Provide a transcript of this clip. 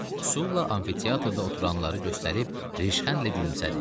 Sulla amfiteatrda oturanları göstərib rişxəndlə gülümsədi.